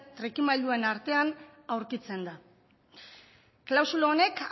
trikimailuen artean aurkitzen da klausula honek